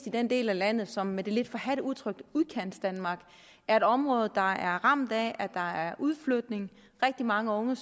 i den del af landet som med det lidt forhadte udtryk udkantsdanmark er et område der er ramt af at der er udflytning rigtig mange unge